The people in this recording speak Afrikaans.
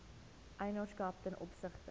eienaarskap ten opsigte